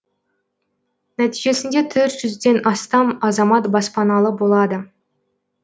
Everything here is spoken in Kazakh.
нәтижесінде төрт жүзден астам азамат баспаналы болады